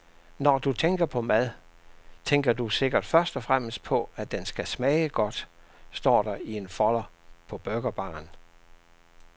Når du tænker på mad, tænker du sikkert først og fremmest på, at den skal smage godt, står der i en folder på burgerbaren.